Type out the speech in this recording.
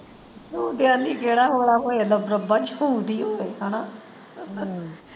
ਹੈਨਾ।